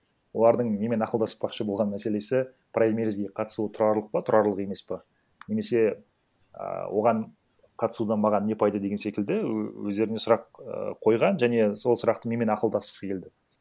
олардың менімен ақылдаспақшы болған мәселесі праймеризге қатысу тұрарлық па тұрарлық емес па немесе а оған қатысудан маған не пайда деген секілді өздеріне сұрақ ііі қойған және сол сұрақты менімен ақылдасқысы келді